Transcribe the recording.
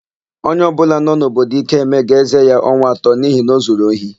Onye ọbụla nọ n'obodo Ikeme ga-ézē ya ọnwa atọ n'ihi na o zuru ohi.